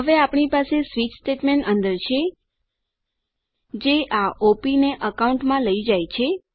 હવે આપણી પાસે સ્વીચ સ્ટેટમેન્ટ અંદર છે જે આ ઓપ ને અકાઉન્ટમાં લઈ જાય છે